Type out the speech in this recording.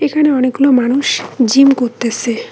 এখানে অনেকগুলো মানুষ জিম করতেসে।